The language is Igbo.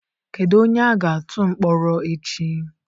Kedu onye a ga-atụ mkpọrọ echi?